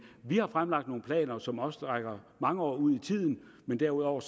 vi har fremlagt nogle planer som også rækker mange år ud i tiden men derudover